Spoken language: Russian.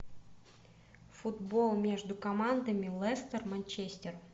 футбол между командами лестер манчестер